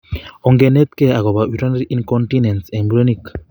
Onginerkei agobo urinary incontinence en murenik